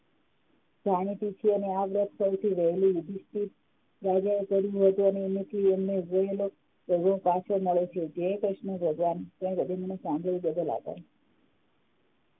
જાણીતી છે અને આ વ્રત સૌથી વહેલી યુધિષ્ઠિર રાજાએ કર્યું હતું અને એમને પાછળ નડે છે જય કૃષ્ણ ભગવાન સાંભળ્યો એ બદલ આભાર